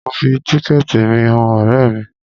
Mo fi tíkẹ̀ẹ̀tì mi han ọ̀rẹ́ mi.